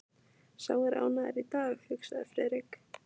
Sá er ánægður í dag, hugsaði Friðrik.